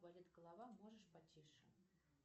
болит голова можешь потише